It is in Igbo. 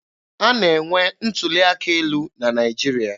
A na-enwe ntuli aka elu na Naịjirịa.